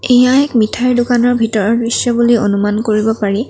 এইয়া এক মিঠাই দোকানৰ ভিতৰৰ দৃশ্য বুলি অনুমান কৰিব পাৰি।